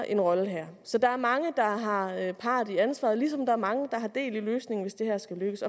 en rolle her så der er mange der har har part i ansvaret ligesom der er mange der har del i løsningen hvis det her skal lykkes